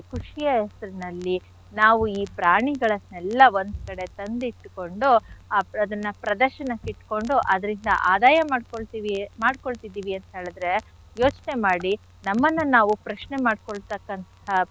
ಖುಷಿಯ ಹೆಸರಿನಲ್ಲಿ ನಾವು ಈ ಪ್ರಾಣಿಗಳನ್ನೆಲ್ಲ ಒಂದ್ ಕಡೆ ತಂದಿಟ್ಕೊಂಡು ಆ ಅದನ್ನ ಪ್ರದರ್ಶನಕ್ಕಿಟ್ಕೊಂಡು ಅದ್ರಿಂದ ಆದಾಯ ಮಾಡ್ಕೊಳ್ತಿವಿ ಮಾಡ್ಕೊಳ್ತಿದೀವಿ ಅಂತ್ ಹೇಳಿದ್ರೆ ಯೋಚ್ನೆ ಮಾಡಿ ನಮ್ಮನ್ನ ನಾವು ಪ್ರಶ್ನೆ ಮಾಡ್ಕೊಳ್ತಕ್ಕಂಥ.